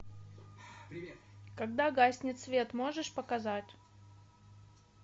когда гаснет свет можешь показать